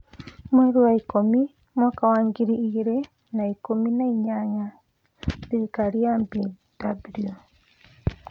Mweri wa ikũmi mwaka wa ngiri igĩrĩ na ikũmi na inyanya: Thirikari ya BW.